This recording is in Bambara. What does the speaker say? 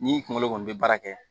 Ni kunkolo kɔni bɛ baara kɛ